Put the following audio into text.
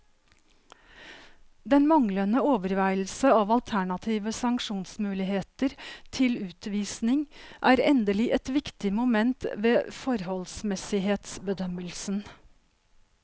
Den manglende overveielse av alternative sanksjonsmuligheter til utvisning er endelig et viktig moment ved forholdsmessighetsbedømmelsen.